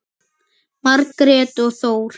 Margrét og Þór.